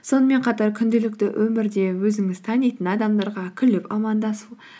сонымен қатар күнделікті өмірде өзіңіз танитын адамдарға күліп амандасу